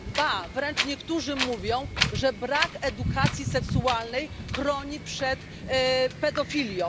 Ba, wręcz niektórzy mówią, że brak edukacji seksualnej chroni przed pedofilią.